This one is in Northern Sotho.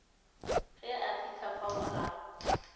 ge a fihla fao a